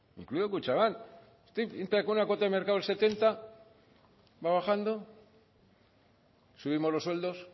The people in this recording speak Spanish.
incluido kutxabank entra con la cuota de mercado del setenta por ciento va bajando subimos los sueldos